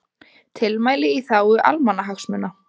Tilmæli í þágu almannahagsmuna